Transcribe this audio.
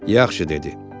Yaxşı dedi.